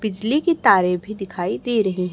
बिजली की तारे भी दिखाई दे रहें।